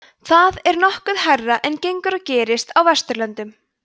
þetta er nokkuð hærra en gengur og gerist á vesturlöndum